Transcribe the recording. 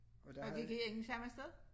Og vi gik ikke samme sted?